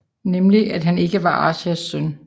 Nemlig at han ikke var Arsheesh søn